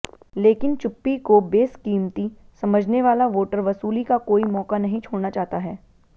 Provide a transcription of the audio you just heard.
लेकिन चुप्पी को बेसकीमती समझने वाला वोटर वसूली का कोई मौका नहीं छोड़ना चाहता है